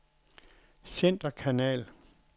centerkanal